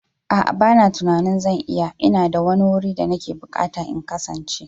A'a bana tunanin zan iya, ina da wani wuri da nake bukata in kasance.